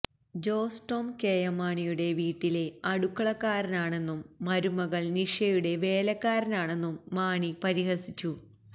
Jose Tom KM മാണിയുടെ വീട്ടിലെ അടുക്കളക്കാരനാണെന്നും മരുമകൾ നിഷയുടെ വേലക്കാരനാണെന്നും മാണി പരിഹസിച്ചു